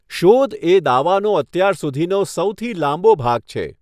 શોધ એ દાવાનો અત્યાર સુધીનો સૌથી લાંબો ભાગ છે.